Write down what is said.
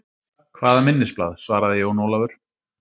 Hvaða minnisblað, svaraði Jón Ólafur.